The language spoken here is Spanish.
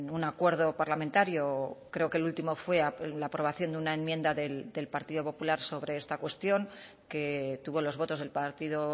un acuerdo parlamentario creo que el último fue la aprobación de una enmienda del partido popular sobre esta cuestión que tuvo los votos del partido